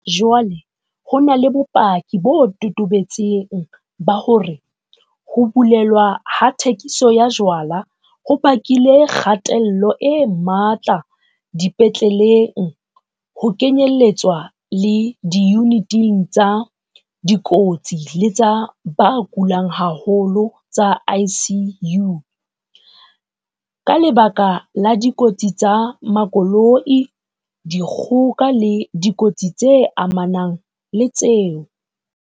Jwale ho na le bopaki bo totobetseng ba hore ho bulelwa ha thekiso ya jwala ho bakile kgatello e matla dipetleleng, ho kenyeletswa le diyuniting tsa dikotsi le tsa ba kulang haholo tsa ICU, ka lebaka la dikotsi tsa makoloi, dikgoka le dikotsi tse amanang le tseo.